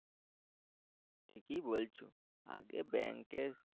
ঠিকই বলছো আগে bank এ